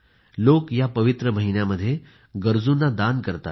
लोक या पवित्र महिन्यामध्ये गरजूंना दान देतात